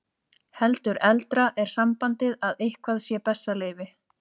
Heldur eldra er sambandið að eitthvað sé bessaleyfi.